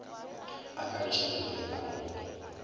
a kagišano le a mogopolo